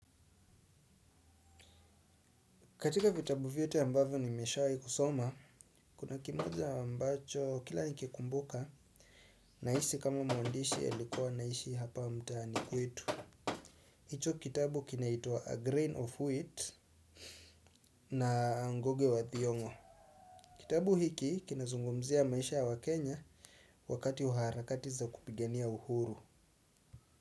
Katika vitabu viyote ambavyo nimeshawi kusoma, kuna kimoja ambacho kila nikikumbuka, naisi kama muandishi alikua anaishi hapa mtaani kwetu. Hicho kitabu kinaitua A Grain of Wheat na Ngoge wa Thiongo. Kitabu hiki kinazungumzia maisha wa Kenya wakati harakati za kupigania uhuru.